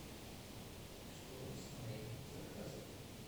что с моим заказом